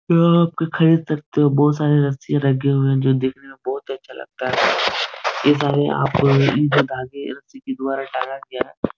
यहाँ आ कर खरीद सकते हो बहोत सारी रशियां लगी हुई हैं जो दिखने में बहोत अच्छा लगता है ये सारे आप द्वारा टांगा गया है।